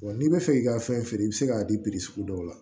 n'i bɛ fɛ k'i ka fɛn feere i bɛ se k'a di sugu dɔw la